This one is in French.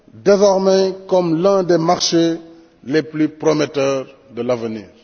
désormais comme l'un des marchés les plus prometteurs de l'avenir.